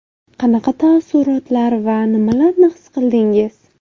Qanaqa taassurotlar va nimalarni his qildingiz?